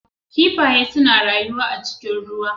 Kiffaye suna rayuwa a cikin ruwa.